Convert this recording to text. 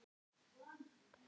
Kannt þú að skrifa?